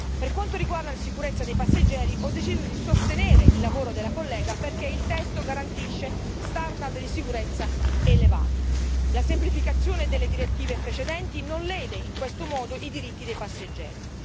Per quanto riguarda la sicurezza dei passeggeri, ho deciso di sostenere il lavoro della collega, perché il testo garantisce standard di sicurezza elevati, la semplificazione delle direttive precedenti non lede in questo modo i diritti dei passeggeri.